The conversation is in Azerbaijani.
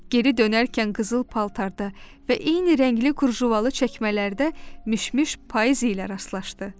Geri dönərkən qızıl paltarda və eyni rəngli kurjuvalı çəkmələrdə Mişmiş payız ilə rastlaşdı.